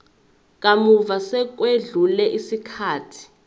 kamuva sekwedlule isikhathi